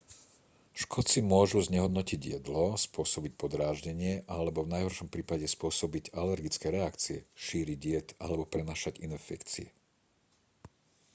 škodci môžu znehodnotiť jedlo spôsobiť podráždenie alebo v najhoršom prípade spôsobiť alergické reakcie šíriť jed alebo prenášať infekcie